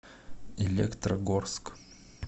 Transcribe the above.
электрогорск